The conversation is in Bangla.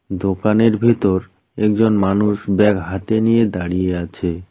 দোকানের ভিতর একজন মানুষ ব্যাগ হাতে নিয়ে দাঁড়িয়ে আছে।